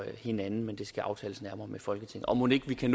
hinanden men det skal aftales nærmere med folketinget og mon ikke vi kan